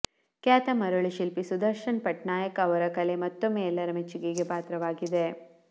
ಖ್ಯಾತ ಮರಳು ಶಿಲ್ಪಿ ಸುದರ್ಶನ್ ಪಟ್ನಾಯಕ್ ಅವರ ಕಲೆ ಮತ್ತೊಮ್ಮೆ ಎಲ್ಲರ ಮೆಚ್ಚುಗೆಗೆ ಪಾತ್ರವಾಗಿದೆ